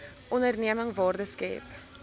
onderneming waarde skep